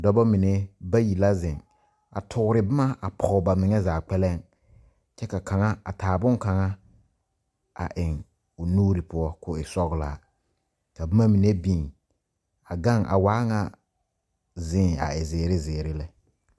Dɔbɔ mene bayi la zeŋ a toore boma a poge ba mene zaa kpɛleŋ. Kyɛ ka kanga a taa boŋ kanga a eŋ o nuure poʊ k'o e sɔglaa. Ka boma mene biŋ a gaŋ a waa ŋa ziiŋ a e ziire ziire lɛ.